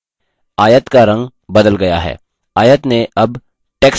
आयत का रंग बदल गया है